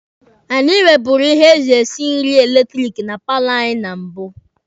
Anyị nweburu ihe eji esi nri eletiriki na paalọ anyị na mbụ